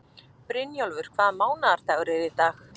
Brynjólfur, hvaða mánaðardagur er í dag?